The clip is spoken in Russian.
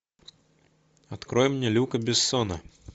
открой мне люка бессона